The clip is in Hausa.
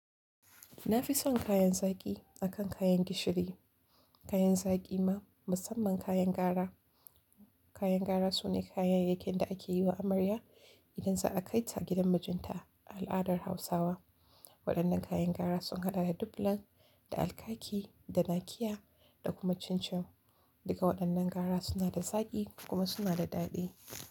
Na fi son kayan zaki akan kayan gishiri. Kayan saki ma musamman kayan kara, kayan gara suna kayayyakin da ake yiwa amarya. Idan za a kai ta gidan mijinta a al'adar Hausawa. Waɗannan kayan gara sun haɗa da dublan, da alkaki, da nakiya da kuma cincin. Duka waɗannan gara suna da zaƙi kuma suna da daɗi.